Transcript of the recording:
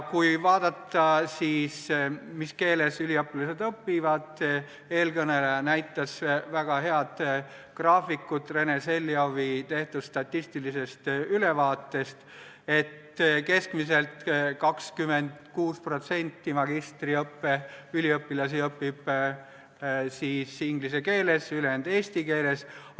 Kui vaadata, mis keeles üliõpilased õpivad – eelkõneleja näitas väga head graafikut Rena Selliovi tehtud statistilisest ülevaatest –, siis on näha, et keskmiselt 26% magistriõppe üliõpilasi õpib inglise keeles, ülejäänud eesti keeles.